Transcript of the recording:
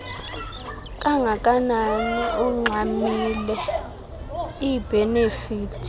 kanganani ungxamile iibhenefithi